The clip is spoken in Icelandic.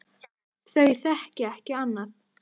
Þau þekki ekki annað.